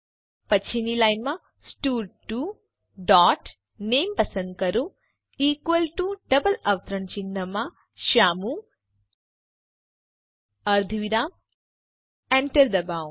પછીની લાઈનમાં સ્ટડ2 ડોટ નામે પસંદ કરો ઇકવલ ટુ ડબલ અવતરણ ચિહ્નમાં શ્યામુ અર્ધવિરામ enter દબાવો